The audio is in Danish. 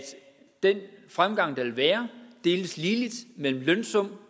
den fremgang der vil være deles ligeligt mellem lønsum